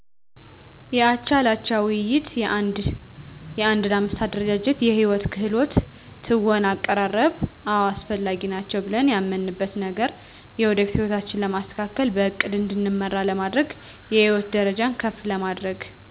የአቻ ለአቻ ውይይት የአንድ ለአምስት አደረጃጀት የህይወት ክህሎት ትወና አቀራረብ አወ አስፈላጊ ናቸው ብለን ያመንበት ነገር የወደፊት ህይወታችን ለማስተካከል በእቅድ እንድንመራ ለማድረግ የህይወት ደረጃችን ከፍ ለማድረግ